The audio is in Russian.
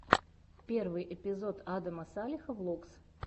первый эпизод адама салеха влогс